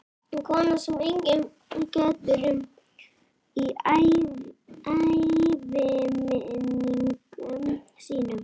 Kona sem enginn getur um í æviminningum sínum.